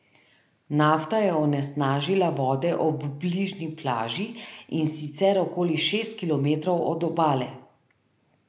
Nafta je onesnažila vode ob bližnji plaži, in sicer okoli šest kilometrov od obale.